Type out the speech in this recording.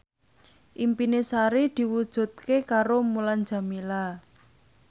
impine Sari diwujudke karo Mulan Jameela